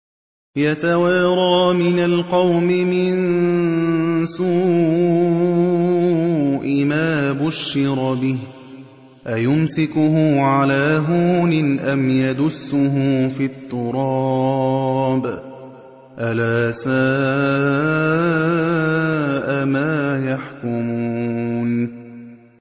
يَتَوَارَىٰ مِنَ الْقَوْمِ مِن سُوءِ مَا بُشِّرَ بِهِ ۚ أَيُمْسِكُهُ عَلَىٰ هُونٍ أَمْ يَدُسُّهُ فِي التُّرَابِ ۗ أَلَا سَاءَ مَا يَحْكُمُونَ